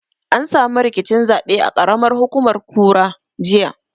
An samu rikicin zaɓe a ƙaramar hukumar kura, jiya.